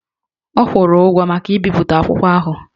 Ọ kwụrụ ụgwọ maka ibipụta akwụkwọ ahụ